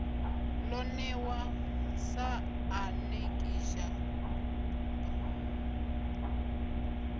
lo newa sa anekidzha b